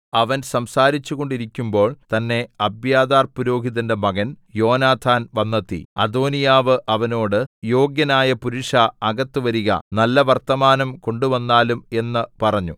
അവൻ സംസാരിച്ചു കൊണ്ടിരിക്കുമ്പോൾ തന്നേ അബ്യാഥാർ പുരോഹിതന്റെ മകൻ യോനാഥാൻ വന്നെത്തി അദോനീയാവ് അവനോട് യോഗ്യനായ പുരുഷാ അകത്തുവരിക നല്ല വർത്തമാനം കൊണ്ടുവന്നാലും എന്ന് പറഞ്ഞു